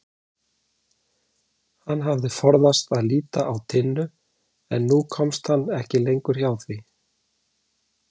Hann hafði forðast að líta á Tinnu en nú komst hann ekki lengur hjá því.